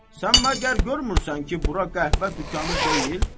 Sən məgər görmürsən ki, bura qəhvə dükanı deyil?